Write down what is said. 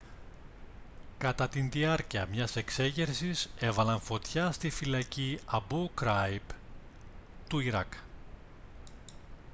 κατά τη διάρκεια μιας εξέγερσης έβαλαν φωτιά στη φυλακή αμπού γκράιμπ του ιράκ